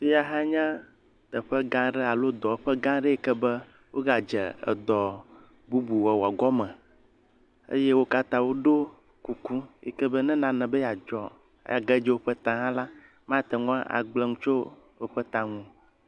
Fiya hã nya teƒe gã aɖe alo dɔwɔƒe gã aɖe yi ke be wogadze dɔ bubu wɔwɔ gɔme eye wo katã woɖɔ kuku be ne nane be yeadzɔa age dze woƒe ta hã la, mate ŋu agblẽ nu le woƒe ta ŋu o.